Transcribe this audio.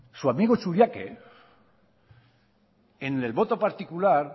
su amigo churiaque en el voto particular